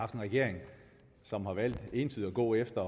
regering som har valgt ensidigt at gå efter